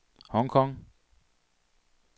Hong Kong